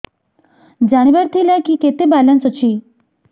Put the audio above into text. ଜାଣିବାର ଥିଲା କି କେତେ ବାଲାନ୍ସ ଅଛି